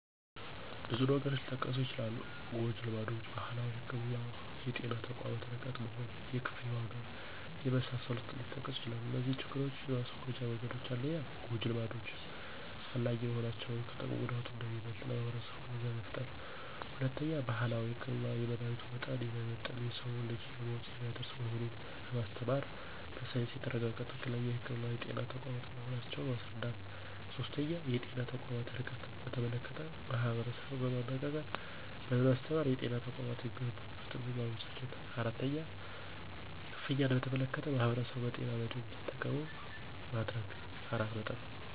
ብዙ ነገሮች ሊጠቀሱ ይችላሉ ጎጅልማዶች: ባህላዊ ህክምና: የጤና ተቋማት ርቀት መሆን: የክፍያ ዋጋ የመሳሰሉት ሊጠቀሱ ይችላሉ እነዚህን ችግሮች የማስወገጃ መንገዶች 1-ጎጂ ልማዶች አላስፈላጊ መሆናቸውን ከጥቅሙ ጉዳቱ አንደሚበልጥ ለማህበረሰቡ ግንዛቤ መፍጠር። 2-ባህላዊ ህክምና የመድሀኒቱ መጠን የማይመጠን የሰዉን ልጅ ለሞት የሚያደርስ መሆኑን በማስተማር በሳይንስ የተረጋገጠ ትክክለኛ ህክምና የጤና ተቋማት መሆናቸውን ማስረዳት። 3-የጤና ተቋማት ርቀትን በተመለከተ ማህበረሰቡን በማነጋገርና በማስተባበር የጤና ተቋማት የሚገነቡበትን ማመቻቸት 4-ክፍያን በተመለከተ ማህበረሰቡን በጤና መድን እንዱጠቀሙ ማድረግ።